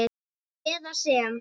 eða sem